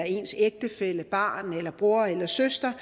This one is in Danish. ens ægtefælle barn eller bror eller søster